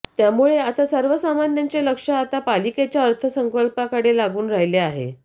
त्यामुळे आता सर्वसामान्यांचे लक्ष आता पालिकेच्या अर्थसंकल्पाकडे लागून राहिले आहे